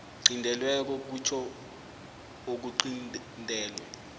qintelweko kutjho okuqintelwe